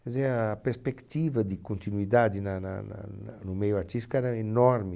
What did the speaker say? Quer dizer, a perspectiva de continuidade na na na na no meio artístico era enorme.